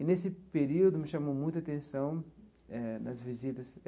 E, nesse período, me chamou muita atenção eh, nas visitas.